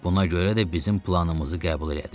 Buna görə də bizim planımızı qəbul elədi.